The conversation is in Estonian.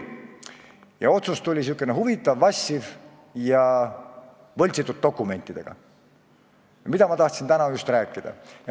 Ja otsus tuli sihuke huvitav: vassiv ja võltsitud dokumentidega, millest ma tahtsingi täna rääkida.